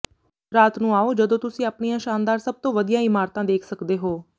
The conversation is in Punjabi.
ਰਾਤ ਨੂੰ ਆਉ ਜਦੋਂ ਤੁਸੀਂ ਆਪਣੀਆਂ ਸ਼ਾਨਦਾਰ ਸਭ ਤੋਂ ਵਧੀਆ ਇਮਾਰਤਾਂ ਦੇਖ ਸਕਦੇ ਹੋ